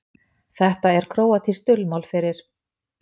Þetta er króatískt dulmál fyrir